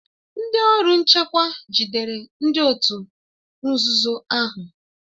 Ndị ọrụ nchekwa jidere ndị òtù nzuzo ahụ